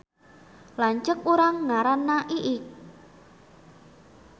Lanceuk urang ngaranna Iik